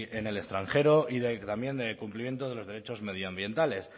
en el extranjero y también de cumplimiento de los derechos medioambientales